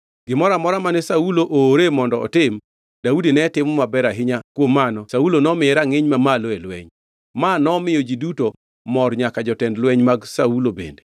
Gimoro amora mane Saulo oore mondo otim, Daudi ne timo maber ahinya kuom mano Saulo nomiye rangʼiny mamalo e lweny. Ma nomiyo ji duto mor nyaka jotend lweny mag Saulo bende.